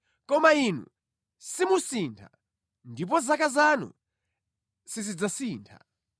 Koma Inu simusintha, ndipo zaka zanu sizidzatha.